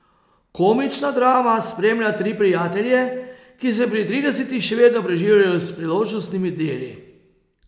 Komična drama spremlja tri prijatelje, ki se pri tridesetih še vedno preživljajo s priložnostnimi deli.